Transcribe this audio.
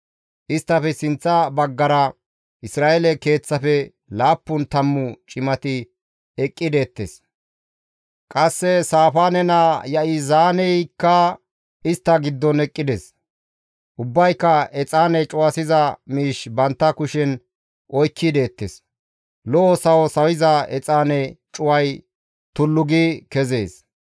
Isttafe sinththa baggara Isra7eele keeththafe laappun tammu cimati eqqi deettes; qasse Saafaane naa Ya7izaaneyaykka istta giddon eqqides. Ubbayka exaane cuwasiza miish bantta kushen oykki deettes; lo7o sawo sawiza exaane cuway tullu gi kezees.